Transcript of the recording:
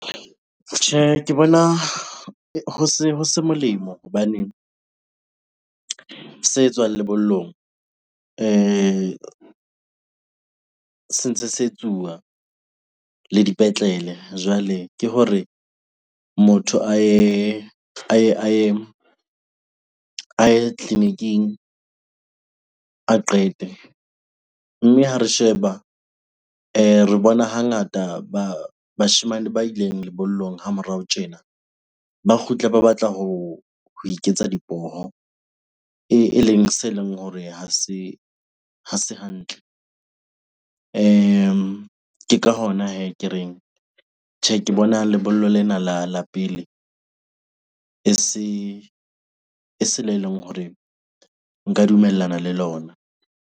Tjhe, ke bona ho se molemo hobaneng se etswang lebollong se ntse se etsuwa le dipetlele. Jwale ke hore motho a ye tleliniking a qete. Mme ha re sheba re bona hangata bashemane ba ileng lebollong ha morao tjena, ba kgutle ba batla ho iketsa dipoho eleng se leng hore ha se hantle. Ke ka hona hee ke reng, tjhe ke bona lebollo lena la pele e se le leng hore nka dumellana le lona.